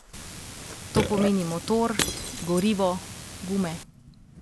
To pomeni motor, gorivo, gume.